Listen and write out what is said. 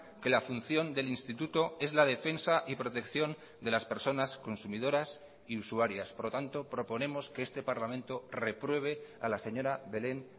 que la función del instituto es la defensa y protección de las personas consumidoras y usuarias por lo tanto proponemos que este parlamento repruebe a la señora belén